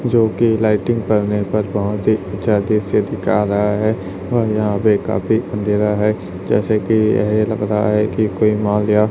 जो कि लाइटिंग पर निर्भर बहोत ही अच्छा दृश्य दिखा रहा है वह यहाँ पे काफी अंधेरा है जैसे कि ये लग रहा है कि कोई मॉल या --